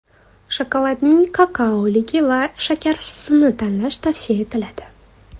Shokoladning kakaoligi va shakarsizini tanlash tavsiya etiladi.